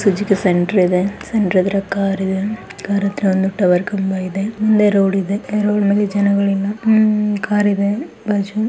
Suzuki centre ಇದೆ centre ಎದುರು car ಇದೆ ಕಾರ್ ಹತ್ರ ಒಂದು ಟವರ್ ಕಂಬ ಇದೆ.